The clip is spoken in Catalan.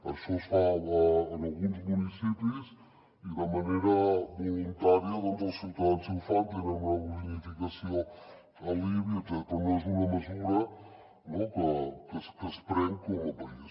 això es fa en alguns municipis i de manera voluntària els ciutadans si ho fan tenen una bonificació en l’ibi etcètera però no és una mesura que es pren com a país